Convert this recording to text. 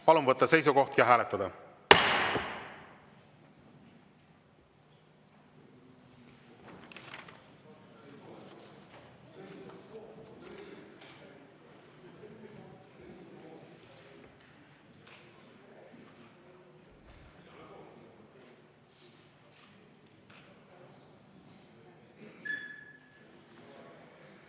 Palun võtta seisukoht ja hääletada!